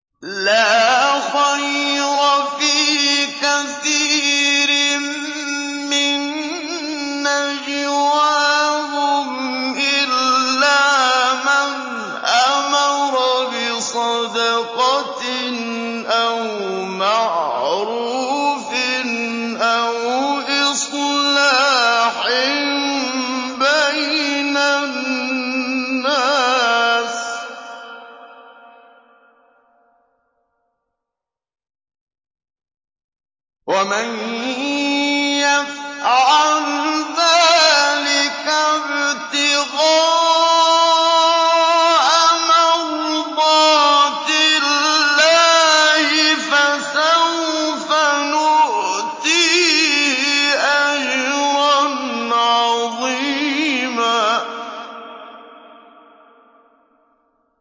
۞ لَّا خَيْرَ فِي كَثِيرٍ مِّن نَّجْوَاهُمْ إِلَّا مَنْ أَمَرَ بِصَدَقَةٍ أَوْ مَعْرُوفٍ أَوْ إِصْلَاحٍ بَيْنَ النَّاسِ ۚ وَمَن يَفْعَلْ ذَٰلِكَ ابْتِغَاءَ مَرْضَاتِ اللَّهِ فَسَوْفَ نُؤْتِيهِ أَجْرًا عَظِيمًا